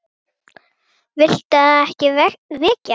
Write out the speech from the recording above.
Viltu að ég veki hana?